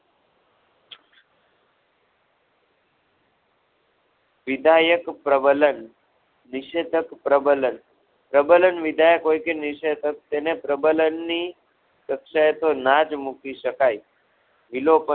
વિધાયક પ્રબલન નિષેધક પ્રબલન પ્રબલન વિધાયક હોય કે નિષેધક તેને પ્રબલન ની કક્ષાએ તો ના જ મૂકી શકાય વિલોપ~